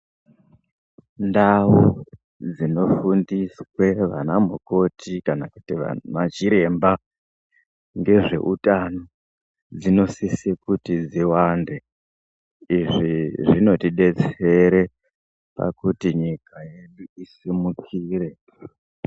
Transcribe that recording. Ndau dzino fundiswe vana mukoti kana vantu va chiremba nge zveutano dzino sise kuti dziwande izvi zvinoti detsere pakuti nyika yedu isumukire.